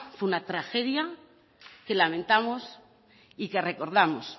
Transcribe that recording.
fue una tragedia que lamentamos y que recordamos